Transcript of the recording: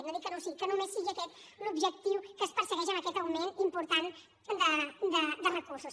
no dic que no ho sigui que només sigui aquest l’objectiu que es persegueix amb aquest augment important de recursos